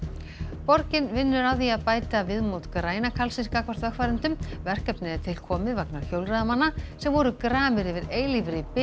borgin vinnur að því að bæta viðmót græna karlsins gagnvart vegfarendum verkefnið er til komið vegna hjólreiðamanna sem voru gramir yfir eilífri bið